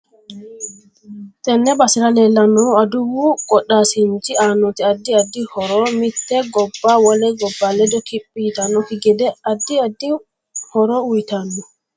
Tenne basera leelannohu aduwu qodhaasinchi aanoti addi addi horo mitte gobba wole gobba ledo kiphi yitanokki gede addi addi horo uyiitanno